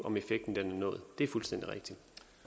om effekten er nået det er fuldstændig rigtigt